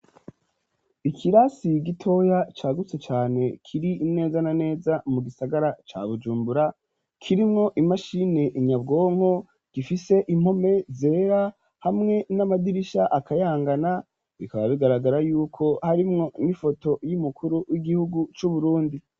Ikirasi gitoya cagutse cane kiri neza na neza mu gisagara cya bujumbura kirimwo imashini inyabwonko gifise impome zera hamwe n'amadirisha akayangana bikaba bigaragara yuko harimwo n'ifoto y'imukuru w'igihugu c'uburundi.